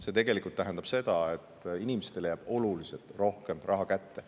See tegelikult tähendab seda, et inimestele jääb oluliselt rohkem raha kätte.